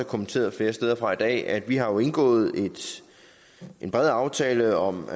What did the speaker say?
kommenteret flere steder fra i dag at vi har indgået en bred aftale om